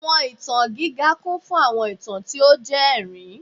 Awọn itan giga kun fun awọn itan ti o jẹ ẹrin